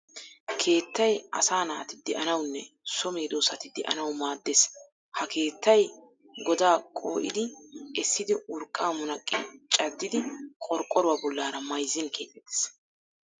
Keettay asaa naati de'anawunne so medossati de'anawu maaddes. Ha keettay godaa qoo'idi essidi urqqaa munaqqi caddidi qorqqoruwa bollaara mayizzin keexettes.